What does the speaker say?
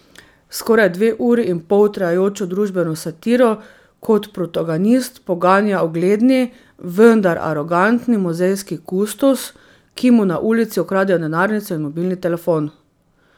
Skoraj dve uri in pol trajajočo družbeno satiro kot protagonist poganja ugledni, vendar arogantni muzejski kustos, ki mu na ulici ukradejo denarnico in mobilni telefon.